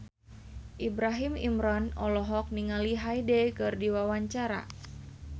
Ibrahim Imran olohok ningali Hyde keur diwawancara